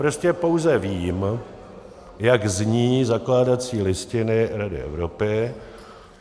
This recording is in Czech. Prostě pouze vím, jak zní zakládací listiny Rady Evropy.